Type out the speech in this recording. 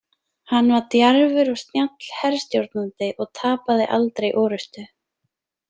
Hann var djarfur og snjall herstjórnandi og tapaði aldrei orrustu.